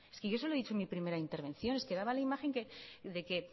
es que yo se lo he dicho en mi primera intervención es que daba la imagen de que